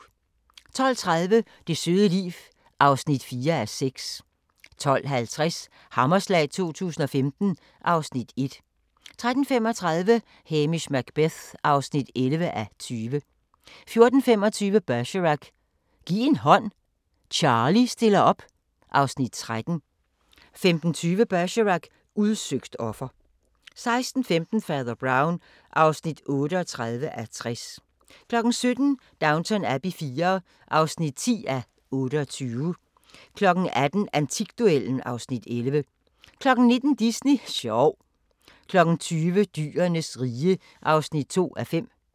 12:30: Det søde liv (4:6) 12:50: Hammerslag 2015 (Afs. 1) 13:35: Hamish Macbeth (11:20) 14:25: Bergerac: Giv en hånd, Charlie stiller op (Afs. 13) 15:20: Bergerac: Udsøgt offer 16:15: Fader Brown (38:60) 17:00: Downton Abbey IV (10:28) 18:00: Antikduellen (Afs. 11) 19:00: Disney sjov 20:00: Dyrenes rige (2:5)